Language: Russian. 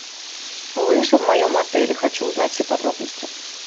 лыжи в моем отеле хочу узнать все подробности